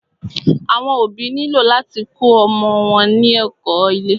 Àwọn òbí nílò láti kó ọmọ wọn ní ẹ̀kó ilé.